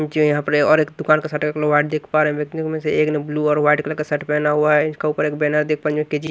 जो यहां पर है और एक दुकान का शटर देख पा रहे है में से एक ने ब्लू और व्हाइट कलर शर्ट पहना हुआ है उसका ऊपर एक बैनर देख पा --